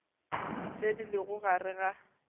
tše di lego gare ga